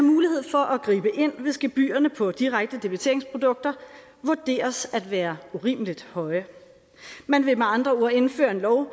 mulighed for at gribe ind hvis gebyrerne på direkte debiteringsprodukter vurderes at være urimelig høje man vil med andre ord indføre en lov